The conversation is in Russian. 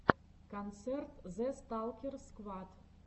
концерт зэ сталкер сквад